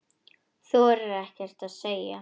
Þorir ekkert að segja.